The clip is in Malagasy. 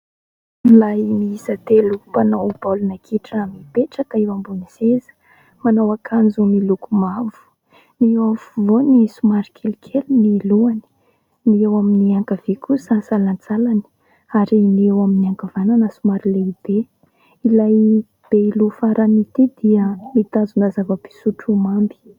Lehilahy miisa telo mpanao baolina kitra mipetraka eo ambony seza. Manao akanjo miloko mavo. Ny eo afovoany somary kelikely ny lohany, ny eo amin'ny ankavia kosa salantsalany ary ny eo amin'ny ankavanana somary lehibe. Ilay be loha farany ity dia mitazona zava-pisotro mamy.